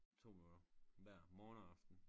2 minutter hver morgen og aften